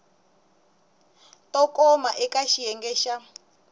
to koma eka xiyenge xa